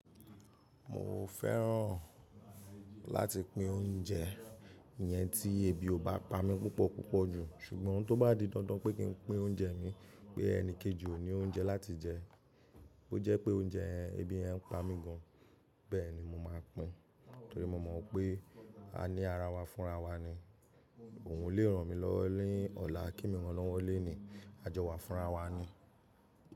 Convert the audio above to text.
Mo fẹ́ràn láti pín oúnjẹ yẹn tí ebi ò bá pa mí púpọ̀ púpọ̀ jù, ṣùgbọ́n tó bá di dandan pé kí n pín oúnjẹ mi pé ẹni kejì ò ní oúnjẹ láti jẹ, ó jẹ́ pé oúnjẹ ẹbí yẹ n pa mí gan, bẹ́ẹ̀ni mo máa pín, torí mo mọ̀ pé a ní ara wa fúnra wa ni, ohun lè ràn mí lọ́wọ́ nìí ọ̀la kemi rán lọ́wọ́ lónìí, àjọ wa fúnra wa ni.